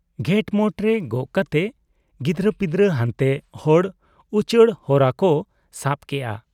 ᱜᱷᱮᱸᱴᱢᱚᱴ ᱨᱮ ᱜᱚᱜ ᱠᱟᱛᱮ, ᱜᱤᱫᱽᱨᱟᱹ ᱯᱤᱫᱽᱨᱟᱹ ᱦᱟᱱᱛᱮ ᱦᱚᱲ ᱩᱪᱟᱹᱲ ᱦᱚᱨᱟ ᱠᱚ ᱥᱟᱵ ᱠᱮᱜ ᱟ ᱾